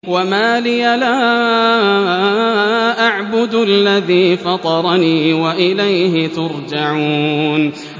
وَمَا لِيَ لَا أَعْبُدُ الَّذِي فَطَرَنِي وَإِلَيْهِ تُرْجَعُونَ